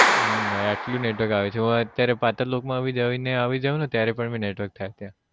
હમ ભાઈ એટલું network છે ઓય અત્યારે પાતાળલોક માં જઈ ને આવી જાઉં ને ત્યારે પણ network થાય ત્યાં